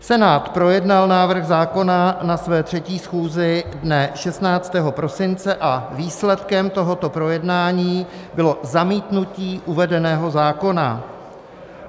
Senát projednal návrh zákona na své 3. schůzi dne 16. prosince a výsledkem tohoto projednání bylo zamítnutí uvedeného zákona.